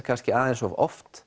kannski aðeins of oft